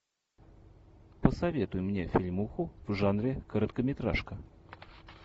посоветуй мне фильмуху в жанре короткометражка